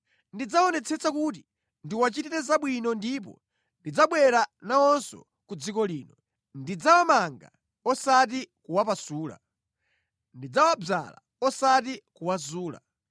Ndidzaonetsesa kuti ndiwachitire zabwino ndipo ndidzabwera nawonso ku dziko lino. Ndidzawamanga osati kuwapasula; ndidzawadzala osati kuwazula.